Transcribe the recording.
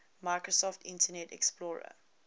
microsoft internet explorer